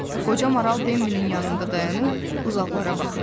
Qoca maral Bembinin yanında dayanıb uzaqlara baxırdı.